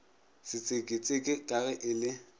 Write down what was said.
setseketseke ka ge e le